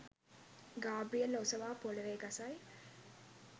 ග්‍රාබියෙල් ඔසවා පොළොවෙ ගසයි